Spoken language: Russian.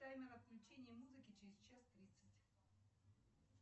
таймер отключение музыки через час тридцать